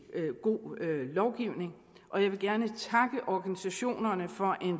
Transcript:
god lovgivning og jeg vil gerne takke organisationerne for